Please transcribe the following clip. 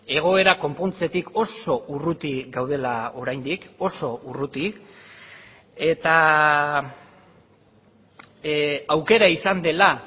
egoera konpontzetik oso urruti gaudela oraindik oso urruti eta aukera izan dela